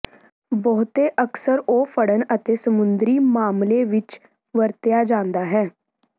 ਬਹੁਤੇ ਅਕਸਰ ਉਹ ਫੜਨ ਅਤੇ ਸਮੁੰਦਰੀ ਮਾਮਲੇ ਵਿੱਚ ਵਰਤਿਆ ਜਾਦਾ ਹੈ